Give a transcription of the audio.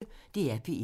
DR P1